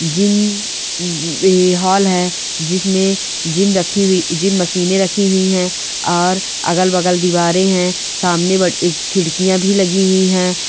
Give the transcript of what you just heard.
Gym बेहाल है जिसमे जिम रखी हुई जिम मशीने ने रखी हुई है और अगल -बगल दीवारे है सामने खिड़कीया भी लगी हुई है।